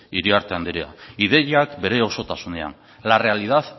iriarte andrea ideiak bere osotasunean la realidad